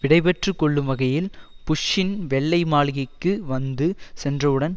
விடைபெற்று கொள்ளும் வகையில் புஷ்ஷின் வெள்ளை மாளிகைக்கு வந்து சென்றவுடன்